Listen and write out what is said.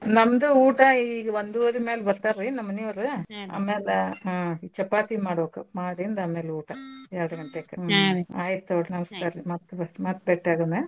ನಮ್ದೂ ಊಟ ಈಗ್ ವಂದೂವರಿ ಮ್ಯಾಲ್ ಬರ್ತಾರ್ರೀ ನಮ್ಮನಿಯೋರು ಅಮ್ಯಾಲ ಹ್ಞೂ ಚಪಾತಿ ಮಾಡ್ಬಕ್ ಮಾಡಿಂದ್ ಅಮ್ಯಾಲೂಟ ಎರ್ಡ್ ಗಂಟೆಕ ಆಯ್ತ್ ತೊಗೊಳ್ರಿ ನಮ್ಸ್ಕಾರ್ರಿ ಮತ್ ಬ್~ ಮತ್ ಬೆಟ್ಯಾಗೋನ